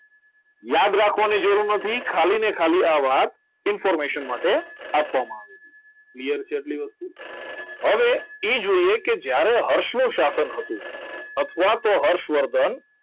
યાદ રાખવાની જરૂર નથી ખાલી ને ખાલી આ વાત information માટે આપવામાં આવી છે clear છે આટલી વસ્તુ હવે એ જોઈએ કે જ્યારે હર્ષનું શાસન હતું અથવા તો હર્ષવર્ધન